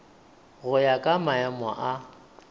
go ya ka maemo a